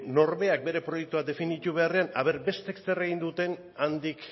norberak bere proiektua definitu beharrean aber besteek zer egin duten handik